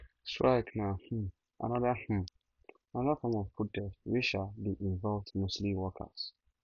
strikes na um another na um another form of protest wey um de invoved mostly workers